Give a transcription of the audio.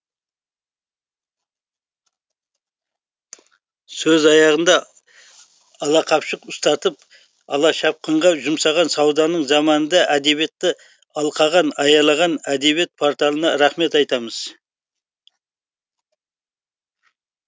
сөз аяғында алақапшық ұстатып алашапқынға жұмсаған сауданың заманында әдебиетті алқаған аялаған әдебиет порталына рахмет айтамыз